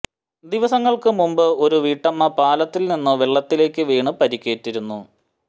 ദിവസങ്ങള്ക്ക് മുമ്പ് ഒരു വീട്ടമ്മ പാലത്തില് നിന്നും വെള്ളത്തിലേക്ക് വീണ് പരിക്കേറ്റിരുന്നു